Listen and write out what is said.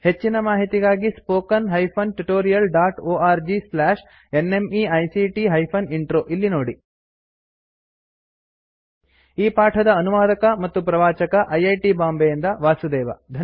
ಹೆಚ್ಚಿನ ಮಾಹಿತಿಗಾಗಿ spoken hyphen tutorial dot org slash NMEICT hyphen intro ಇಲ್ಲಿ ನೋಡಿ ಈ ಪಾಠದ ಅನುವಾದಕ ಮತ್ತು ಪ್ರವಾಚಕ ಐ ಐ ಟಿ ಬಾಂಬೆಯಿಂದ ವಾಸುದೇವ